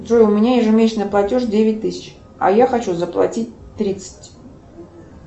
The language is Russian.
джой у меня ежемесячный платеж девять тысяч а я хочу заплатить тридцать